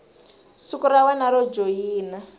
siku ra wena ro joyina